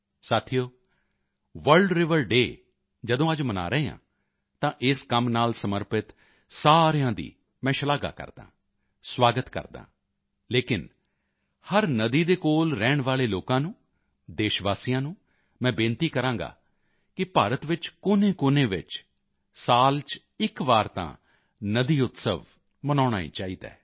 ਸਾਥੀਓ world river day ਜਦੋਂ ਅੱਜ ਮਨਾ ਰਹੇ ਹਾਂ ਤਾਂ ਇਸ ਕੰਮ ਨਾਲ ਸਮਰਪਿਤ ਸਾਰਿਆਂ ਦੀ ਮੈਂ ਸ਼ਲਾਘਾ ਕਰਦਾ ਹਾਂ ਸੁਆਗਤ ਕਰਦਾ ਹਾਂ ਲੇਕਿਨ ਹਰ ਨਦੀ ਦੇ ਕੋਲ ਰਹਿਣ ਵਾਲੇ ਲੋਕਾਂ ਨੂੰ ਦੇਸ਼ਵਾਸੀਆਂ ਨੂੰ ਮੈਂ ਬੇਨਤੀ ਕਰਾਂਗਾ ਕਿ ਭਾਰਤ ਵਿੱਚ ਕੋਨੇਕੋਨੇ ਵਿੱਚ ਸਾਲ ਚ ਇੱਕ ਵਾਰ ਤਾਂ ਨਦੀ ਉਤਸਵ ਮਨਾਉਣਾ ਹੀ ਚਾਹੀਦਾ ਹੈ